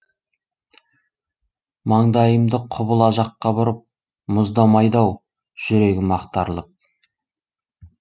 маңдайымды құбыла жаққа бұрып мұздамайды ау жүрегім ақтарылып